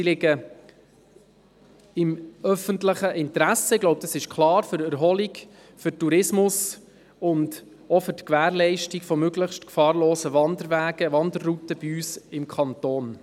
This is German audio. Sie liegen im öffentlichen Interesse – für die Erholung, für den Tourismus und auch für die Gewährleistung möglichst gefahrloser Wanderwege und Wanderrouten bei uns im Kanton.